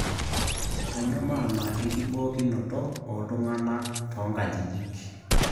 Kanyio maana enkibookinoto oltung'anak toonkajijik